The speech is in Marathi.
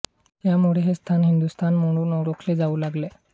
त्यामुळे हे स्थान हिंदुस्थान म्हणून ओळखले जाऊ लागले